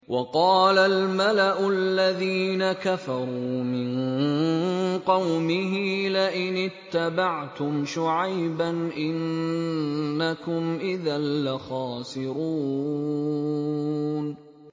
وَقَالَ الْمَلَأُ الَّذِينَ كَفَرُوا مِن قَوْمِهِ لَئِنِ اتَّبَعْتُمْ شُعَيْبًا إِنَّكُمْ إِذًا لَّخَاسِرُونَ